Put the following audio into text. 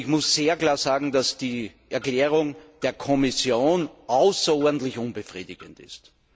Aber ich muss sehr klar sagen, dass die Erklärung der Kommission außerordentlich unbefriedigend ist.